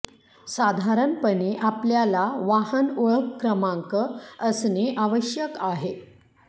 साधारणपणे आपल्याला वाहन ओळख क्रमांक असणे आवश्यक आहे